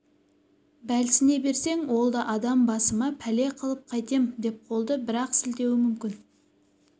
бәлсіне берсең ол да адам басыма пәле қылып қайтем деп қолды бір-ақ сілтеуі мүмкін